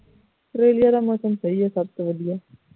Australia ਦਾ ਮੌਸਮ ਸਹੀ ਹੈ ਸਭ ਤੋਂ ਵਧੀਆ